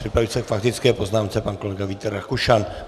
Připraví se k faktické poznámce pan kolega Vít Rakušan.